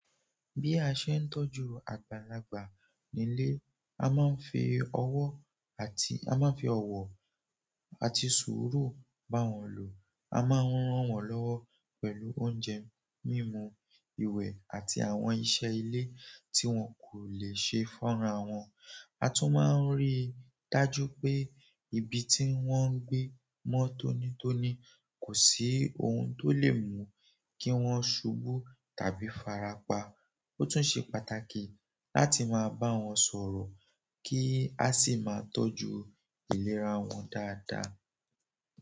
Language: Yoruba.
Bí a ṣe ń tọ́jú àgbàlagbà nílé, a máa ń fi ọwọ́ àti sùúrù bá wọn lò. A máa ń ran wọ́n lọ́wọ́ pẹ̀lú oúnjẹ mímú, ìwẹ̀ àti àwọn iṣẹ́ ilé tí wọ́n kò lè ṣe fúnra wọn. A tún máa ń ríi dájú pé ibi tí wọ́n ń gbé mọ́ tónítóní kò sí ohun tó lè mú kí wọ́n ṣubú tàbí farapa. Ó tún ṣe pàtàkì láti máa bá wọn sọ̀rọ̀ kí a sì máa tọ́jú ìlera wọn dáadáa.